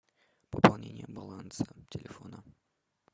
пополнение баланса телефона